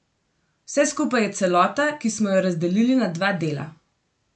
Vse skupaj je celota, ki smo jo razdelili na dva dela.